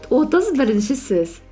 отыз бірінші сөз